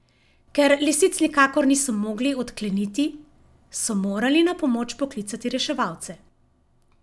Ker lisic nikakor niso mogli odkleniti, so morali na pomoč poklicati reševalce.